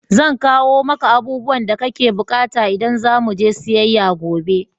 Zan kawo maka abubuwan da kake bukata idan za mu je siyayya gobe.